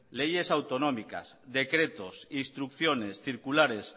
leyes autonómicas decretos instrucciones circulares